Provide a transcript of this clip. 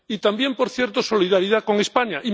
Y también, por cierto, solidaridad con España.